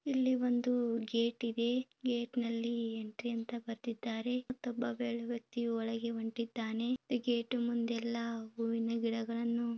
ಇಲ್ಲಿ ಒಂದು ಗೇಟ್ ಇದೆ ಗೇಟ್ನಲ್ಲಿ ಎಂಟ್ರಿ ಅಂತ ಬರೆದಿದ್ದಾರೆ ಗೇಟ್ ನ ಒಳಗಡೆ ಒಬ್ಬ ವ್ಯಕ್ತಿ ಹೋಗುತ್ತಿದ್ದಾನೆ ಗೇಟ್ ನ ಪಕ್ಕ ಹೂ ಹೂವಿನ ಗಿಡಗಳನ್ನು --